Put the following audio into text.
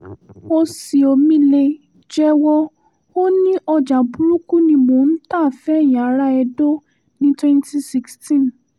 oṣìọ́mi·le jẹ́wọ́ ò ní ọjà burúkú ni mo ta fẹ̀yìn ará edo ní twenty sixteen.